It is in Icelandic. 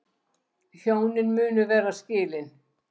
Hjónin munu vera skilin